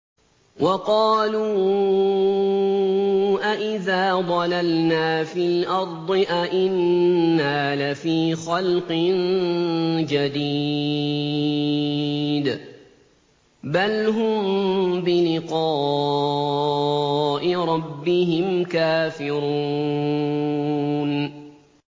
وَقَالُوا أَإِذَا ضَلَلْنَا فِي الْأَرْضِ أَإِنَّا لَفِي خَلْقٍ جَدِيدٍ ۚ بَلْ هُم بِلِقَاءِ رَبِّهِمْ كَافِرُونَ